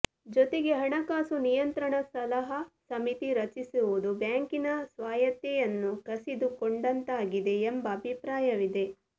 ಜೊತೆಗೆ ಹಣಕಾಸು ನಿಯಂತ್ರಣ ಸಲಹಾ ಸಮಿತಿ ರಚಿಸಿರುವುದು ಬ್ಯಾಂಕಿನ ಸ್ವಾಯತ್ತೆಯನ್ನು ಕಸಿದುಕೊಂಡಂತಾಗಿದೆ ಎಂಬ ಅಭಿಪ್ರಾಯವಿದೆ